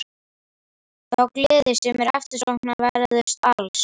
Þá gleði sem er eftirsóknarverðust alls.